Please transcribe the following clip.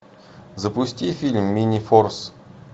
запусти фильм мини форс